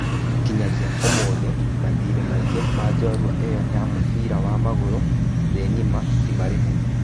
Kinyagia ũmũthĩ, mathirĩ maingĩ ma njorua ĩyo ya mũbira wa magũrũ thĩ ng'ima timarĩhe.